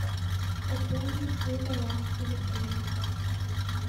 пополнить свой баланс телефона